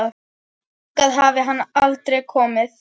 Hingað hafi hann aldrei komið.